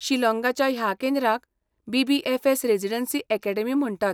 शिलॉंगाच्या ह्या केंद्राक BBFS. Residency academy म्हणटात.